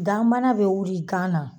Ganbana be wuli gan na